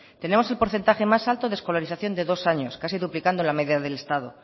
tenemos el porcentaje más alto de escolarización de dos años casi duplicando la media del estado